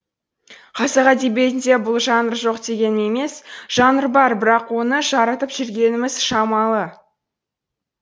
қазақ әдебиетінде бұл жанр жоқ дегенім емес жанр бар бірақ оны жарытып жүргеніміз шамалы